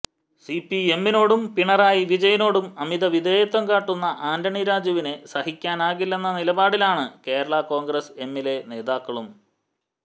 സിപിഎമ്മിനോടും പിണറായി വിജയനോടും അമിത വിധേയത്വം കാട്ടുന്ന ആന്റണി രാജുവിനെ സഹിക്കാനാകില്ലെന്ന നിലപാടിലാണ് കേരള കോൺഗ്രസ് എമ്മിലെ നേതാക്കളും